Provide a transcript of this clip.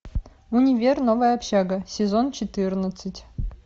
универ новая общага сезон четырнадцать